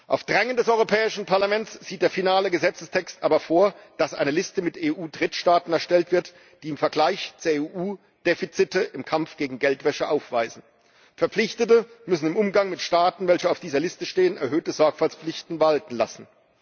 Auf Drängen des Europäischen Parlaments sieht der finale Gesetzestext aber vor, dass eine Liste mit EU Drittstaaten erstellt wird, die im Vergleich zur EU Defizite im Kampf gegen Geldwäsche aufweisen. Verpflichtete müssen im Umgang mit Staaten, welche auf dieser Liste stehen, erhöhte Sorgfaltspflichten walten lassen.